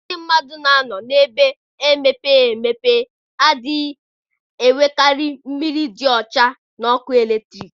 Ndị mmadụ na-anọ na-ebe emepeghị emepe adịghị enwekarị mmiri dị ọcha na ọkụ eletrik.